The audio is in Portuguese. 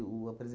o